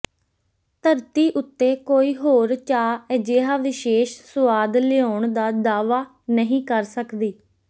ਧਰਤੀ ਉੱਤੇ ਕੋਈ ਹੋਰ ਚਾਹ ਅਜਿਹਾ ਵਿਸ਼ੇਸ਼ ਸੁਆਦ ਲਿਆਉਣ ਦਾ ਦਾਅਵਾ ਨਹੀਂ ਕਰ ਸਕਦੀ